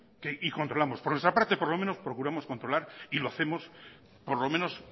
y controlamos por nuestra parte por lo menos procuramos controlar y lo hacemos por lo menos